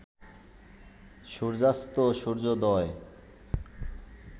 সূর্যাস্তেও সূর্যোদয়